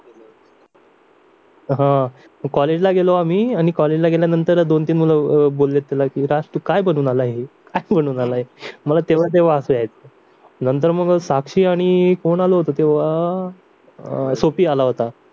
अह कॉलेजला गेलो आम्ही आणि कॉलेजला गेल्यानंतर दोन-तीन मुलं बोलले त्याला की राज तू काय बनून आला काय बनून आला आहे मला तेव्हा ते हसू यायचं नंतर मग साक्षी आणि कोण आलं होतं सोफि आला होता